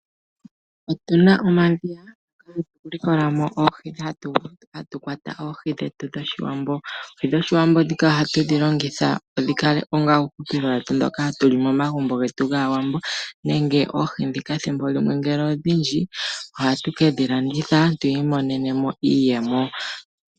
Otuna omadhiya hatu kwatamo oohi dhetu dhoshiwambo. Oohi dhoshiwambo oha tudhi longitha dhi kake osheelelwa shetu shoka hatuli momagumbo getu gAawambo. Ethimbo limwe ngele odhindji ohatu kedhi landitha tu mone iiyemo.